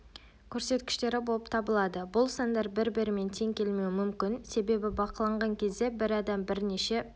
көрсеткіштері болып табылады бұл сандар бір-бірімен тең келмеуі мүмкін себебі бақыланған кезде бір адам бірнеше